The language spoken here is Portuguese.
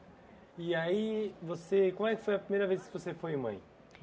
E aí, você, como é que foi a primeira vez que você foi mãe?